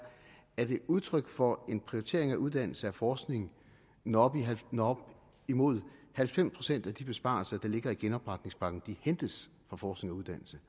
er det udtryk for en prioritering af uddannelse og forskning når op imod halvfems procent af de besparelser der ligger i genopretningspakken hentes fra forskning og uddannelse